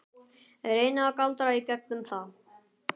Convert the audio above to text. Reyni að galdra í gegnum það.